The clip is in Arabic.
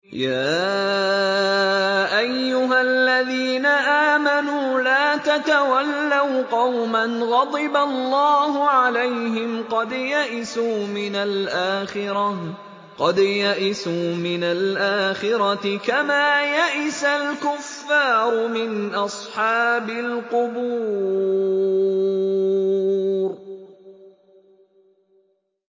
يَا أَيُّهَا الَّذِينَ آمَنُوا لَا تَتَوَلَّوْا قَوْمًا غَضِبَ اللَّهُ عَلَيْهِمْ قَدْ يَئِسُوا مِنَ الْآخِرَةِ كَمَا يَئِسَ الْكُفَّارُ مِنْ أَصْحَابِ الْقُبُورِ